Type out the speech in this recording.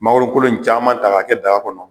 Mangoro kolo in caman ta ka kɛ daga kɔnɔ